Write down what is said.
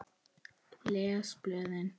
Les blöðin.